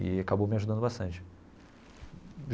E acabou me ajudando bastante.